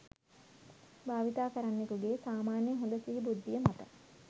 භාවිතාකරන්නෙකුගේ සාමාන්‍ය හොද සිහි බුද්ධිය මත